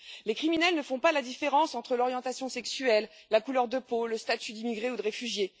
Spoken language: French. Les criminels ne font pas la différence entre l'orientation sexuelle, la couleur de peau, le statut d'immigré ou de réfugié.